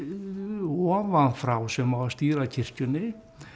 ofan frá sem á að stýra kirkjunni